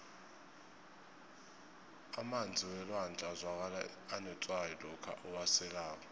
emanzi welwandle azwakala anetswayi lokha uwaselako